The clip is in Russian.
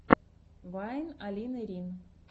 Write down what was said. вайн алины рин